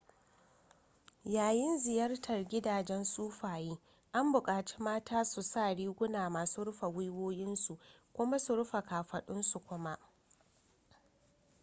yayin ziyartar gidajen sufaye an buƙaci mata su sa riguna masu rufe gwiwowinsu kuma su rufe ƙafadunsu kuma